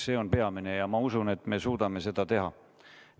See on peamine ja ma usun, et me suudame seda teha.